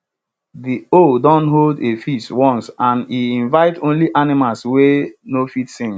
de owl don hold a feast once and e invite only animals wey no fit sing